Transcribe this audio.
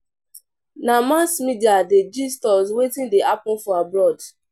Na mass media dey gist us wetin dey happen for abroad.